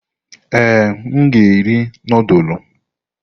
Ee, m ga-eri nudulu.